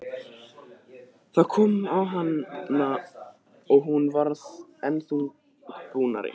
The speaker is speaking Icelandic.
Það kom á hana og hún varð enn þungbúnari.